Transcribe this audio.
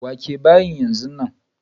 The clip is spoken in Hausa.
Wake bayin yanzu nan!